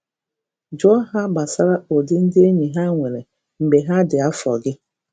Jụọ ha gbasara ụdị ndị enyi ha nwere mgbe ha dị afọ gị.